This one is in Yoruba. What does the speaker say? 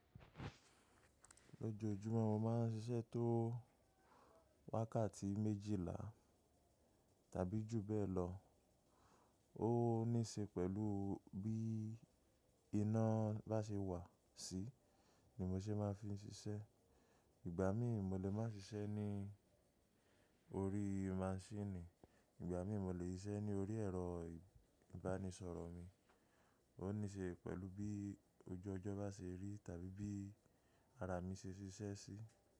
Lójojúmọ́ mo máa ń ṣiṣẹ́ tó wákàtí méjìlá tàbí jù bẹ́ẹ̀ lọ. Ó níṣe pẹ̀lú bí iná bá ṣe wà sí ni mo ṣe máa fi ń ṣiṣẹ́. Ìgbà mi mọ́ lè máa ṣiṣẹ́ ní orí maṣíìnì, ìgbà mi mọ́ lè ṣiṣẹ́ ní orí ẹ̀rọ ìbánisọ̀rọ̀ mi. Ó níṣe pẹ̀lú bí ojú ọjọ́ bá ṣe rí tàbí bí ara mi ṣe ṣiṣẹ́ sí.